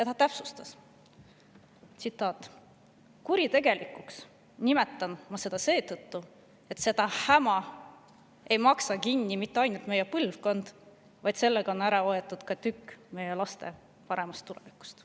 Ta täpsustas: "Kuritegelikuks nimetan ma seda seetõttu, et seda häma ei maksa kinni mitte ainult meie põlvkond, vaid sellega on ära võetud ka tükk meie laste paremast tulevikust.